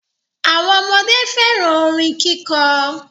Awọn ọmọde fẹ́ràn orin kíkọ.